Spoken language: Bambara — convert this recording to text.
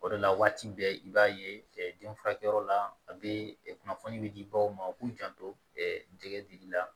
O de la waati bɛɛ i b'a ye den furakɛyɔrɔ la a bɛ kunnafoni bɛ di baw ma u k'u janto dili la